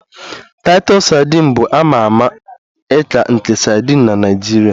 Titus sadin bụ a ma ama ika nke sadin na Naijiria